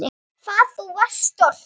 Hvað þú varst stolt.